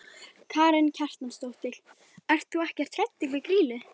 Karen Kjartansdóttir: Ert þú ekkert hræddur við Grýlu?